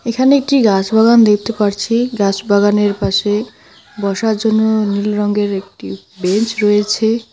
এখানে একটি গাছ বাগান দেখতে পারছি গাস বাগানের পাশে বসার জন্য নীল রঙ্গের একটি বেঞ্চ রয়েছে।